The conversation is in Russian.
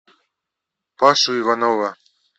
пашу иванова